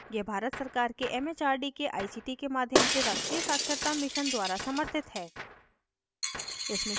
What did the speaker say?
यह भारत सरकार के it it आर डी के आई सी टी के माध्यम से राष्ट्रीय साक्षरता mission द्वारा समर्थित है